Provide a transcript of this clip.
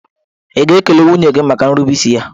Ị̀ ga-ekele nwunye gị maka nrubeisi ya?